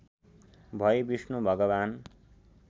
भई विष्णु भगवान्